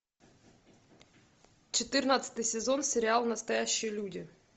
четырнадцатый сезон сериал настоящие люди